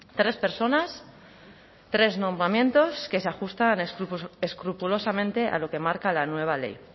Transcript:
tres personas tres nombramientos que se ajustan escrupulosamente a lo que marca la nueva ley